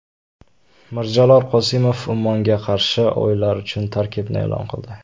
Mirjalol Qosimov Ummonga qarshi o‘yinlar uchun tarkibni e’lon qildi.